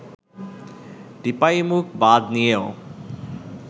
টিপাইমুখ বাঁধ নিয়েও